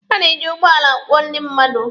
A na-eji ụgbọala akwọ ndị mmadụ.